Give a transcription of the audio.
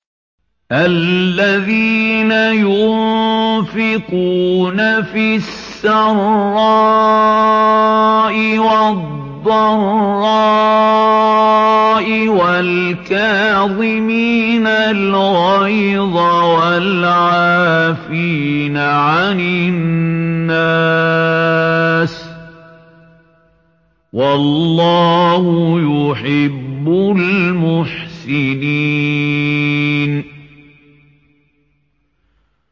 الَّذِينَ يُنفِقُونَ فِي السَّرَّاءِ وَالضَّرَّاءِ وَالْكَاظِمِينَ الْغَيْظَ وَالْعَافِينَ عَنِ النَّاسِ ۗ وَاللَّهُ يُحِبُّ الْمُحْسِنِينَ